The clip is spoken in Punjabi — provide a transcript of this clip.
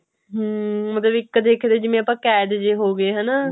ਹਮ ਵੀ ਇੱਕ ਤਰੀਕੇ ਦੇ ਵੀ ਆਪਾਂ ਕੈਦ ਜੇ ਹੋਗੇ ਹਣਾ